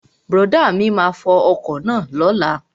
Brọ̀dá mi máa fo ọkọ̀ náà lóla